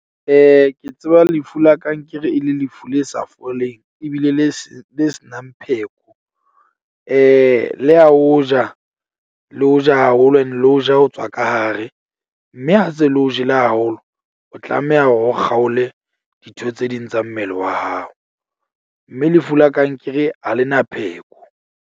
Ke tseba lefu la kankere e le lefu le sa foleng ebile le se le se nang pheko. Le ya o ja, le o ja haholo ene le o ja ho tswa ka hare. Mme ha se le o jele haholo, o tlameha hore o kgaole ditho tse ding tsa mmele wa hao. Mme lefu la kankere ha lena pheko.